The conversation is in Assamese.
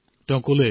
তেওঁ কলে